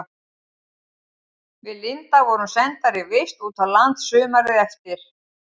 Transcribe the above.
Við Linda vorum sendar í vist út á land sumarið eftir.